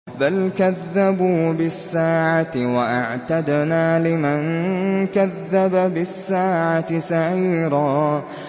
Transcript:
بَلْ كَذَّبُوا بِالسَّاعَةِ ۖ وَأَعْتَدْنَا لِمَن كَذَّبَ بِالسَّاعَةِ سَعِيرًا